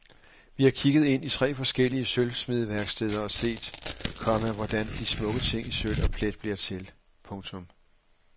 Vi har kigget ind i tre forskellige sølvsmedeværksteder og set, komma hvordan de smukke ting i sølv og plet bliver til. punktum